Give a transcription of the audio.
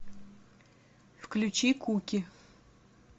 включи куки